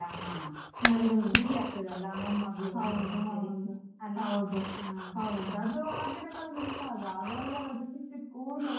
ಹಾ ಊರಲ್ಲಿಯಾ ಹಾ ಅವರಿಗೊಂದು ಖುಷಿ ಆಗ್ತದೆ ಅಲ್ಲ ಮೊಮ್ಮಗಳು ಬಂದ್ಲು ಅಂತೇಳಿ.